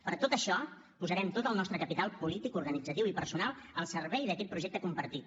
per tot això posarem tot el nostre capital polític organitzatiu i personal al servei d’aquest projecte compartit